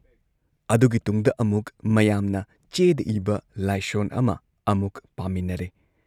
ꯑꯗꯨꯒꯤ ꯇꯨꯡꯗ ꯑꯃꯨꯛ ꯃꯌꯥꯝꯅ ꯆꯦꯗ ꯏꯕ ꯂꯥꯏꯁꯣꯟ ꯑꯃ ꯑꯃꯨꯛ ꯄꯥꯃꯤꯟꯅꯔꯦ ꯫